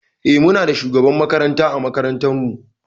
Eh Muna da shugaban makaranta ã makarantan mu